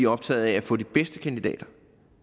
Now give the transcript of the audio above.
optaget af at få de bedste kandidater